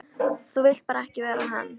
Þú vilt bara ekki vera hann!